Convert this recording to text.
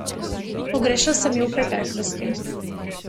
Pogrešal sem ju v preteklosti.